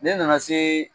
Ne nana se